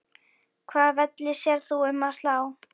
Hvaða velli sérð þú um að slá?